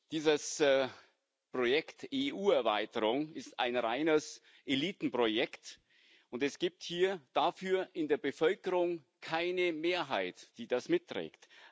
Dieses Projekt EU Erweiterung ist ein reines Elitenprojekt, und es gibt dafür in der Bevölkerung keine Mehrheit, die das mitträgt.